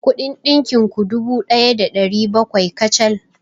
Kuɗin ɗinkin ku dubu ɗaya da ɗari bakwai kacal.